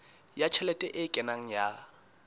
ya tjhelete e kenang ya